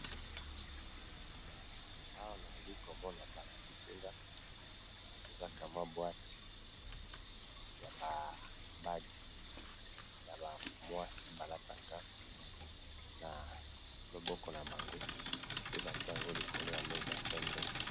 Awa nali komona balakisinga eza kamwa bwate ya bage ya bana mwasi balataka na loboko na bango pe batia yango likolo ya meza ya pembe